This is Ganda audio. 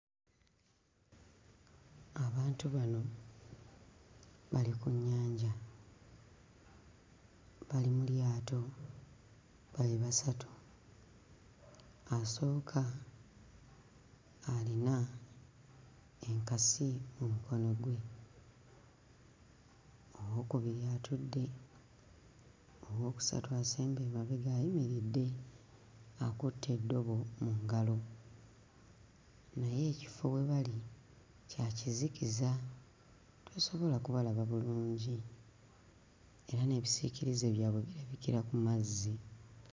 Abantu bano bali ku nnyanja, bali mu lyato, bali basatu. Asooka alina enkasi mu mukono gwe, owookubiri atudde, owookusatu asembye emabega ayimiridde akutte eddobo mu ngalo naye ekifo we bali kya kizikiza tosobola kubalaba bulungi era n'ebisiikirize byabwe birabikira ku mazzi.